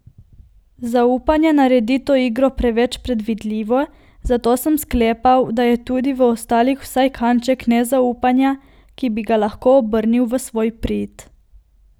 Zaupanje naredi to igro preveč predvidljivo, zato sem sklepal, da je tudi v ostalih vsaj kanček nezaupanja, ki bi ga lahko obrnil v svoj prid.